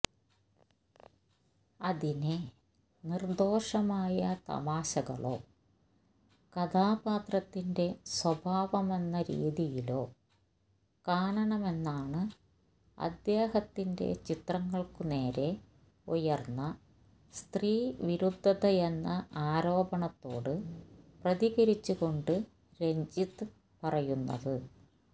അതിനെ നിര്ദോഷമായ തമാശകളോ കഥാപാത്രത്തിന്റെ സ്വാഭാവമെന്ന രീതിയിലോ കാണണമെന്നാണ് അദ്ദേഹത്തിന്റെ ചിത്രങ്ങള്ക്കുനേരെ ഉയര്ന്ന സ്ത്രീവിരുദ്ധതയെന്ന ആരോപണത്തോട് പ്രതികരിച്ചുകൊണ്ട് രഞ്ജിത്ത് പറയുന്നത്